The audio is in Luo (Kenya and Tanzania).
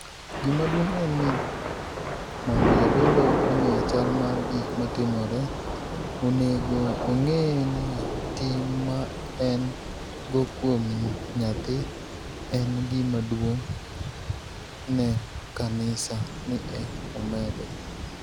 Gima duonig' eni nii monido jadolo onig'e chal mar gik matimore, oni ego onig'e nii tinig' ma eni go kuom niyathi eni gima duonig' ni e kaniisa,' ni e omedo.